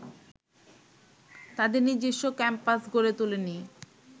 তাদের নিজস্ব ক্যাম্পাস গড়ে তোলেনি